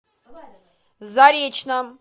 заречном